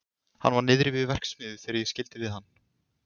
Hann var niðri við verksmiðju þegar ég skildi við hann.